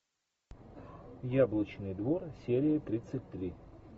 яблочный двор серия тридцать три